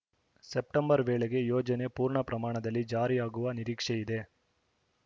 September ವೇಳೆಗೆ ಯೋಜನೆ ಪೂರ್ಣಪ್ರಮಾಣದಲ್ಲಿ ಜಾರಿಯಾಗುವ ನಿರೀಕ್ಷೆಯಿದೆ